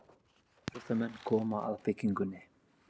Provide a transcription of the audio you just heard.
Íþróttamenn koma að byggingunni.